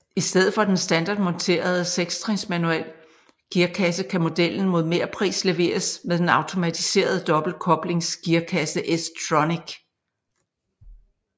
I stedet for den standardmonterede sekstrins manuel gearkasse kan modellen mod mepris leveres med den automatiserede dobbeltkoblingsgearkasse S tronic